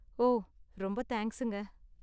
ஓ, ரொம்ப தேங்க்ஸுங்க.